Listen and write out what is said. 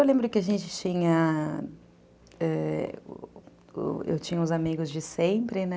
Eu lembro que a gente tinha... é... Eu tinha uns amigos de sempre, né?